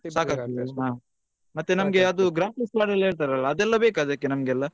ಸಾಕಾಗ್ತದಾ ಮತ್ತೆ ನಮ್ಗೆ graphics ಹೇಳ್ತಾರಲ್ಲ ಅದೆಲ್ಲಾ ಬೇಕಾ ನಮ್ಗೆಲ್ಲ.